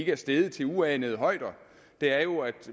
er steget til uanede højder er jo at